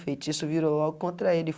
Feitiço virou logo contra ele.